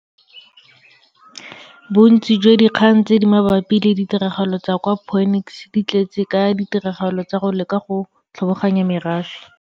Bontsi jwa dikgang tse di mabapi le ditiragalo tsa kwa Phoenix di tletse ka ditiragalo tsa go leka go tlhoboganya merafe.